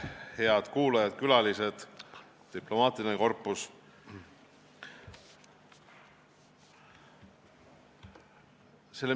Head kuulajad, külalised, diplomaatiline korpus!